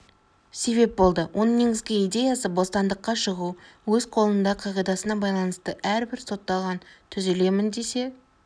себеп болды оның негізгі идеясы бостандыққа шығу өз қолыңда қағидасына байланысты әрбір сотталған түзелемін десе